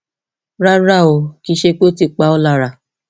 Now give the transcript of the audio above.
rárá o kì í ṣe pé ó ti pa ọ lára